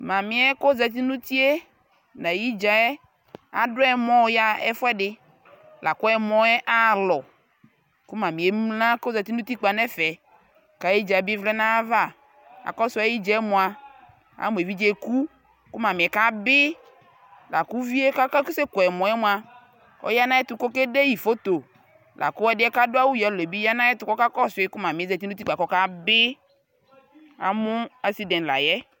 Mami yɛ kʋ ozati nʋ uti yɛ nʋ ayʋ idza yɛ adu ɔmɔ yaɣa ɛfuɛdι la kʋ ɛmɔ yɛ aɣalɔ kʋ mami yɛ emla kʋ ozati nʋ utikpa nʋ ɛfɛ kʋ ayʋ dza bι vlɛ nʋ ayʋ ava Akɔsu ayʋ idza yɛ mua, amu evidze yɛ eku kʋ mami yɛ kabi la kʋ uvi yɛ kʋ asɛkʋ ɛmɔ yɛ mua, ɔya nʋ ayʋ ɛtu kʋ okedeyi foto la kʋ ɛdi yɛ kʋ adu awu yelo yɛ bi ɔya nʋ ayʋ ɛtuk kʋ ɔkakɔsuyi kʋ mami yɛ zati nʋ utikpa kʋ ɔkabi Amʋ asidi ni la yɛ